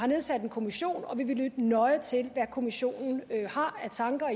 nedsat en kommission og vi vil lytte nøje til hvad kommissionen har af tanker